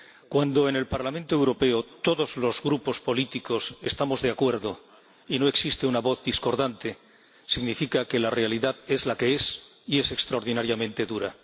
Cuando en el Parlamento Europeo todos los grupos políticos estamos de acuerdo y no existe una voz discordante, significa que la realidad es la que es y es extraordinariamente dura.